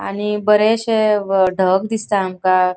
आणि बरेशे व ढग दिसता आमका.